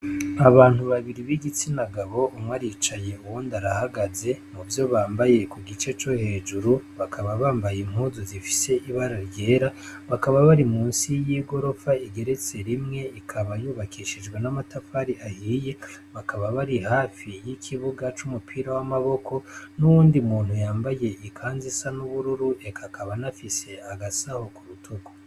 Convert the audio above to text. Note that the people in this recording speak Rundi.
Abantu babiri b'igitsina gabo, umwe aricaye, uwundi arahagaze, muvyo bambaye ku gice co hejuru, bakaba yambaye impuzu zifise ibara ryera, bakaba bari munsi y'igorofa igeretse rimwe, ikaba yubakishijwe n'amatafari ahiye, bakaba bari hafi y'ikibuga c'umupira w'amaboko, n'uwundi muntu yambaye ikanzu isa n'ubururu eka akaba anafise agasaho k'urutugu.